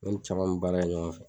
Ne ni caman be baara kɛ ɲɔgɔn fɛ.